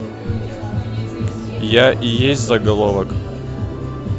я и есть заголовок